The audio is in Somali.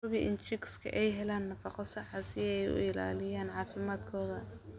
Hubi in chicks ay helaan nafaqo sax ah si ay u ilaaliyaan caafimaadkooda.